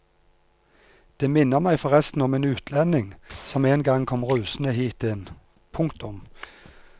Det minner meg forresten om en utlending som en gang kom rusende hit inn. punktum